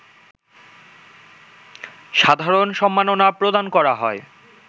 সাধারণ সম্মাননা প্রদান করা হয়